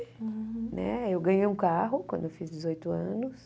Né eu ganhei um carro quando eu fiz dezoito anos.